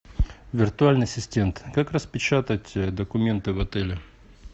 виртуальный ассистент как распечатать документы в отеле